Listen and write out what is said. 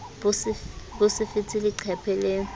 bo se fete leqephe le